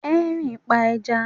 Henry ń pa ẹja